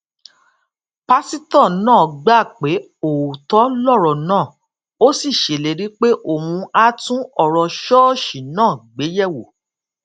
pásítò náà gbà pé òótó lòrò náà ó sì ṣèlérí pé òun á tún òrò ṣóòṣì náà gbéyèwò